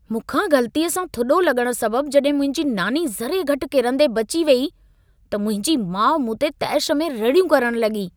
मूंखां ग़लतीअ सां थुॾो लॻण सबबु जॾहिं मुंहिंजी नानी ज़रे घटि किरंदे बची वेई, त मुंहिंजी माउ मूं ते तेश में रड़ियूं करण लॻी।